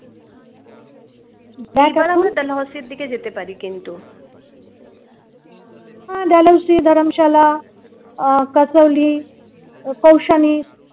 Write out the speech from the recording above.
যেতে পারি কিন্তু হ্যা balanci dharamshala আহ kasoli ই kousani